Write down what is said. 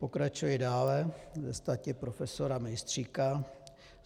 Pokračuji dále ve stati profesora Mejstříka.